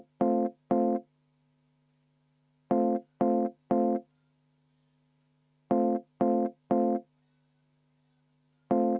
V a h e a e g